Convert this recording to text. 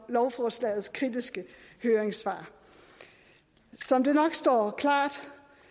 lovforslagets kritiske høringssvar som det nok står klart